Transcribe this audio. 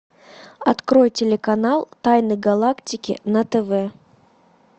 открой телеканал тайны галактики на тв